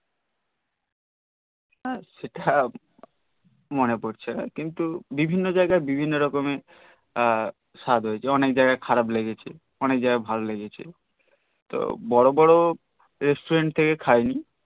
সেটা মনে পরছে না তবে বিভিন্ন জাইগাই বিভিন্ন রকমের স্বাদ হয়েছে অনেক জাইগাই খারাপ লেগেছে অনেক জাইগাই ভাল লেগেছে তো বর বর restaurant থেকে খাইনি